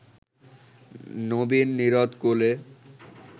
নবীন-নীরদ-কোলে